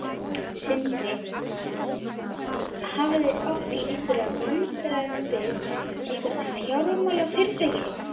Sindri: Hafið þið átt í einhverjum viðræðum við eitthvert fjármálafyrirtæki?